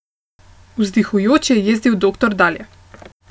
Vzdihujoč je jezdil doktor dalje.